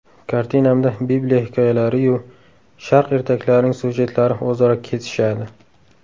Kartinamda bibliya hikoyalari-yu sharq ertaklarining syujetlari o‘zaro kesishadi.